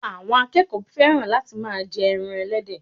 àwọn akẹẹkọ fẹ́ràn láti ma jẹ ẹran ẹlẹ́dẹ̀